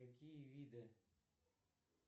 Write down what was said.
какие виды